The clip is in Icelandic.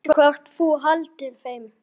Veistu hvort þú haldir þeim?